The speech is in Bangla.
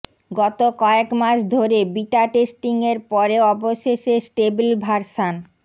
গত কয়েক মাস ধরে বিটা টেস্টিং এর পরে অবশেষে স্টেবেল ভার্সান